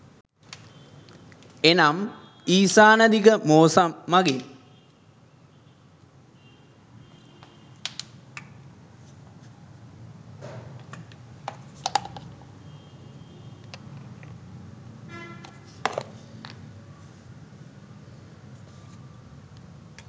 එනම් ඊසාන දිග මෝසම් මඟින්